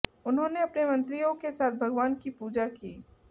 उन्होंने अपने मंत्रियों के साथ भगवान की पूजा की